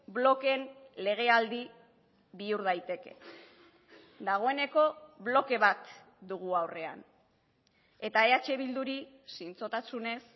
blokeen legealdi bihur daiteke dagoeneko bloke bat dugu aurrean eta eh bilduri zintzotasunez